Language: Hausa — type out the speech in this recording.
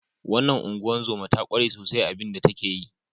Wannan ungozoma ta kware sosai a abin da yake yi.